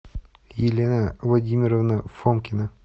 елена владимировна фомкина